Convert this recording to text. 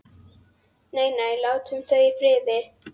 Nei, nei, látum þau í friði.